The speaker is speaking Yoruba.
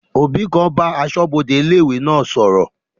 Òbí kan ń bá asọ́bodè ilé-ìwé náà sọ̀rọ̀